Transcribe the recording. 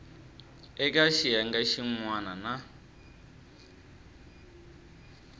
eka xiyenge xin wana na